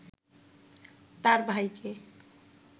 তার ভাইকে